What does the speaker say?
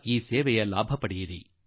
ಈ ಸೇವೆಯ ಲಾಭವನ್ನು 9ನೇ ತಾರೀ